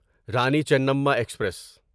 Rani Chennamma express